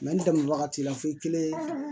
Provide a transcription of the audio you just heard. n dɛmɛ wagati la fo i kelen